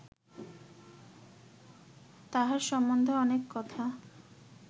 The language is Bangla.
তাঁহার সম্বন্ধে অনেক কথা